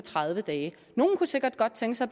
tredive dage nogle kunne sikkert godt tænke sig